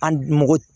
An mɔgɔ